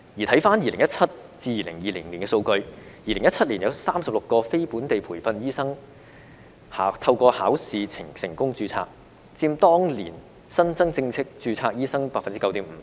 回看2017年至2020年的數據 ，2017 年有36名非本地培訓醫生透過考試成功註冊，佔當年新增正式註冊醫生 9.5%。